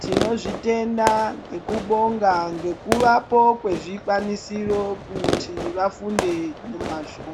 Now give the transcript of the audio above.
Tinozvitenda ngekubonga ngekuvapo kwezvikwanisiro kuti vafunde ngemwazvo.